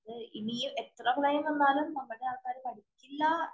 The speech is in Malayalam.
ഇനി എത്ര പ്രളയം വന്നാലും നമ്മുടെ ആളുകള്‍ പഠിക്കുകയില്ല.